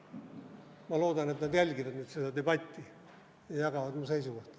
Ma loodan, et nad jälgivad nüüd seda debatti ja jagavad mu seisukohta.